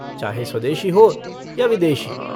चाहे स्वदेशी हो या विदेशी।